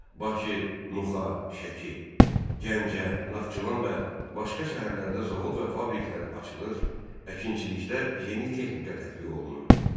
Bakı, Nuxa, Şəki, Gəncə, Naxçıvan və başqa şəhərlərdə zavod və fabriklər açılır, əkinçilikdə yeni texnika tətbiq olunurdu.